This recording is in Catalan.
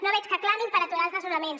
no veig que clamin per aturar els desnonaments